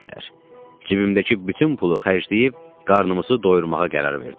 Cibimdəki bütün pulu xərcləyib, qarnımızı doyurmağa qərar verdim.